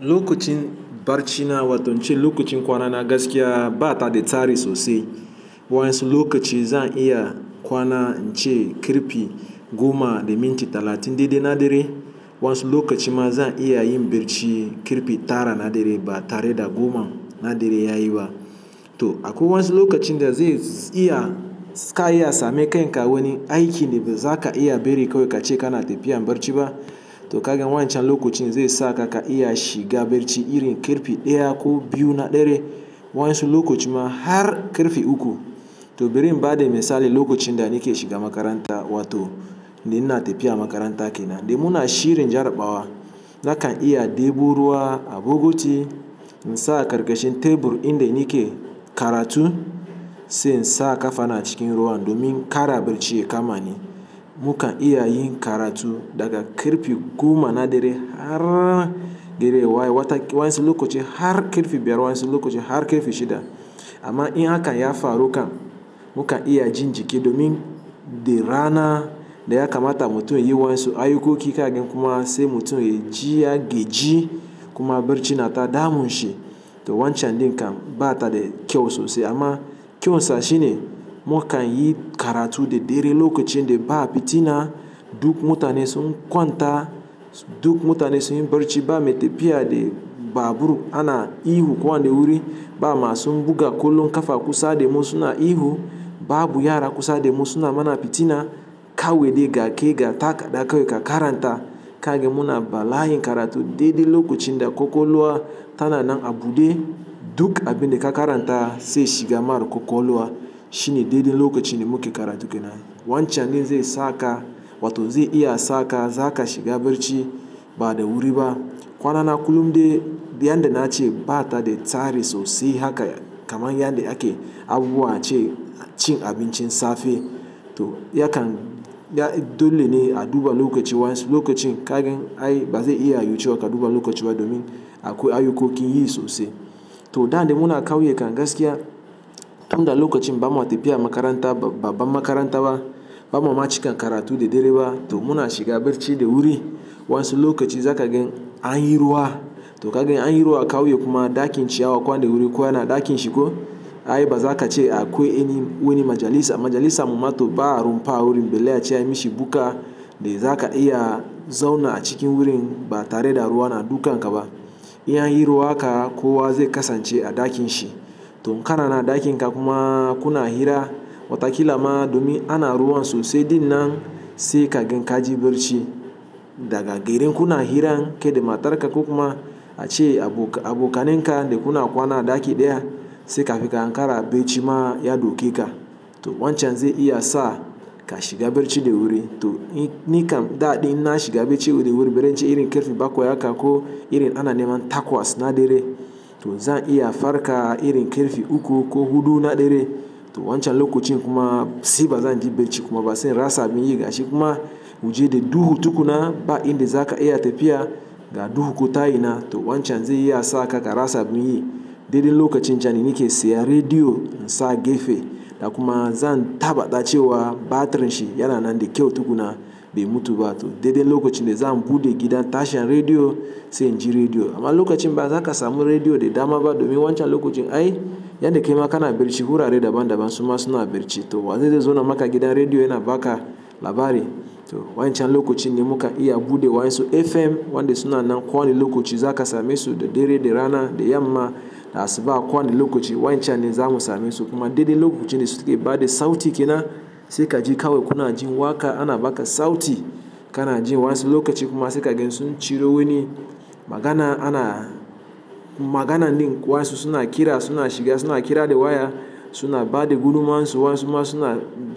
Lokacin barcina wato in ce lokacin kwana na gaskiya ba ta da tsari sosai. Wani lokaci zan iya kwana in ce karfe goma da minti talatin daidai na dare. Wani lokaci ma zan iya yin barci karfe tara na dare ba tare da goma na dare ya yi ba. To akwai wani lokacin da zai iya, suka iya same kai in ka wani aiki da ba za ka iya bari kawai ka ce kana tafiya barci ba. To kagan wancan lokacin zai sa ka ka iya shiga barci irin karfe ɗaya ko biyu na dare. Wasi lokaci ma har karfe uku. To bari in ba da misali lokacin da nike shiga makaranta wato ina tafiya makaranta kenan da muna shirin jarabawa. Na kan iya ɗebo ruwa a bukiti in sa a ƙarƙashin tebur inda nike karatu sai in sa ƙafa na a cikin ruwan domin kara barci ya kamani. Mu kan iya yin karatu daga karfe goma na dare har gari ya waye wata, wani lokaci har karfe biyar, wasu lokaci har karfe shida. Amma in haka ya faru kam mu kan iya jin jiki domin da rana da ya kamata mutum yayi wani aiyuka kika gidan kuma sai mutum ya ji ya gaji kuma barci na ta damun shi. To wancan din kan ba ta da kyau sosai amma kyauta shine mu kan yi karatu da dare lokacin da ba fitina duk mutane sun kwanta, duk mutane sun yi barci ba me tafiya da babu ruwa ana ihu kwan ne wuri ba ma sun buga kallo ƙafa kusa da mu su na ihu ba abu ya yara kusa da mu su na mana fitina kawai dai ga ke ga takarda kawai ka karanta. Kagan muna bala' in karatu daidai lokacin da ƙwaƙwalwa tana nan a buɗe duk abin da ka karanta sai shiga marar ƙwaƙwalwa shine daidai lokacin da muke karatu kenan. Wancan zai sa ka wato zai iya sa ka zaka shiga barci ba da wuri ba. Kwanana kullum dai yanda na ce ba ta da tsari sosai haka kamar yadda ake abubuwa a ce cin abincin safe. To ya kan, ya dole ne a duba lokaci wani lokacin kagan ai ba zai iya yiwcewa ka duba lokaci ba domin akwai aiyukan yin sosai. To da dai muna ƙauye kan gaskiya, tunda lokacin ba mu tafiya makaranta ba, ba makaranta ba, ba mu ma cika karatu da dare ba to muna shiga barci da wuri. Wasu lokaci za ka gan an yi ruwa. To ka gan an yi ruwa a ƙauye kuma ɗakin chiyawa kwan ne wuri kowa na ɗakin shi ko. Ai ba za ka ce akwai wani majalisa, majalisa mu ma to ba run ba wurin bai laya ce ya mishi buka da za ka iya zauna cikin wurin ba tare da ruwa na dukan ka ba. In an yi ruwa haka kowa zai kasance a ɗakin shi. To kana nan a ɗakin ka kuma kuna hira watakila ma domin ana ruwa sosai dinnan sai kagan ka ji barci. Daga garin kuna hira ke da matar ka kuma a ce abu, abokanin ka da kuna kwana a ɗaki ɗaya sai ka fi ka an kara barci ma ya dauke ka. To wancan zai iya sa ka shiga barci da wuri. To ni kam daɗin na shiga barci wuri bari in ce irin karfe bakwai haka ko irin ana nema takwas na dare. To zan iya farka irin kirfi uku ko huɗu na dare. To wancan lokacin kuma sai ba zan ji barci kuma ba sai rasa bin yi ga shi kuma waje da duhu tukuna ba inda za ka iya tafiya ga duhu ku ta yi na. To wancan zai iya sa ka ka rasa bin yi. Daidai lokacin can nike saya rediyo in sa a gefe. Da kuma zan tabbata cewa batirin shi yana nan da kyau tukuna bai mutu ba. To daidai lokacin da zan bude gidan tashan rediyo sai in ji rediyo. Amma lokacin ba za ka samu rediyo da dama ba domin wancan lokacin ai yadda kai ma kana barci hura redio daban daban su ma suna barci. To wanzai zai zauna maka gidan rediyo yana baka labari. To wancan lokacin ne muka iya bude wasu FM wanda suna nan ko wani lokaci za ka same su da dare da rana da yamma da asuba ko wani lokaci wancan ne za mu same su kuma daidai lokacin da suka yi ba da sauti kenan sai ka ji kawai kuna jin waƙa ana baka sauti kana jin wasu lokaci kuma sai kagan sun ciro wani magana ana, magana ne wani suna kira suna shiga suna kira da waya suna ba da gudummawar su wasu kuma,